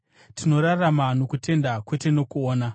Tinorarama nokutenda, kwete nokuona.